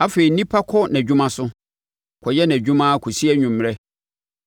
Afei, onipa kɔ nʼadwuma so kɔyɛ adwuma ara kɔsi anwummerɛ.